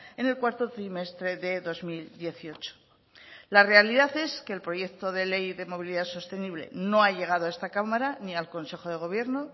en el cuarto trimestre de dos mil dieciocho la realidad es que el proyecto de ley de movilidad sostenible no ha llegado a esta cámara ni al consejo de gobierno